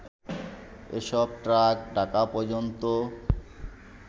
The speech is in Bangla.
এসব ট্রাক ঢাকা পর্যন্ত